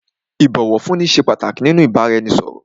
Ìbọ̀wọ̀fúnni ṣé pàtàkì nínú ìbáraẹnisọ̀rọ̀.